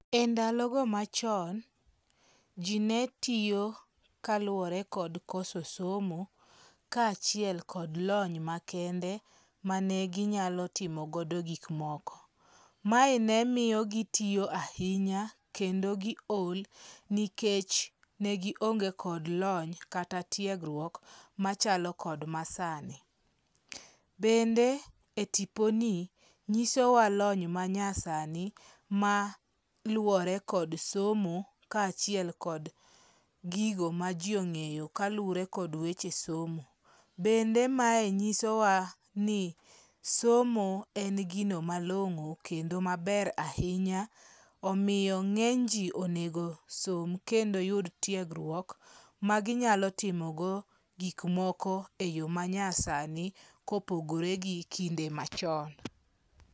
E ndalogo machon, ji netiyo kaluwore kod koso somo kaachiel kod lony makende mane ginyalo timogodo gikmoko. Mae ne miyo gitiyo ahinya kendo gi ol nikech ne gionge kod lony kata tiegruok machalo kod masani. Bende e tiponi nyisowa lony manyasani maluwore kod somo kaachiel kod gigo ma ji ong'eyo kaluwore kod weche somo. Bende mae nyisowa ni somo en gino malong'o kendo maber ahinya omiyo ng'eny ji onego som kendo yud tiegruok ma ginyalo timogo gikmoko e yo manyasani kopogore gi kinde machon.